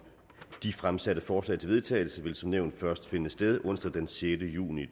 de fremsatte forslag til vedtagelse vil som nævnt først finde sted onsdag den sjette juni